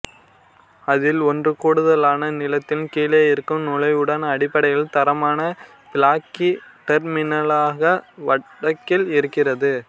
அதில் ஒன்று கூடுதலான நிலத்தின் கீழே இருக்கும் நுழைவுடன் அடிப்படையில் தரமான பிளாக்கி டெர்மினலாக வடக்கில் இருக்கிறது